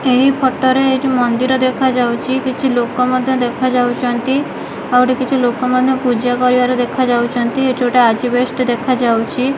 ଏହି ଫୋଟୋ ରେ ଏଇଠି ମନ୍ଦିର ଦେଖାଯାଉଚି କିଛି ଲୋକ ମଧ୍ୟ ଦେଖାଯାଉଚନ୍ତି ଆଉ ଏଠି କିଛି ଲୋକମାନେ ପୂଜା କରିବାର ଦେଖାଯାଇଚନ୍ତି ଏଠି ଗୋଟେ ଆଜବେଷ୍ଟ ଦେଖାଯାଉଚି।